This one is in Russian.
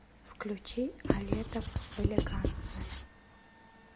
включи алетов элегантная